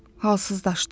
Halsızlaşdı.